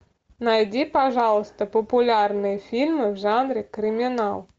найди пожалуйста популярные фильмы в жанре криминал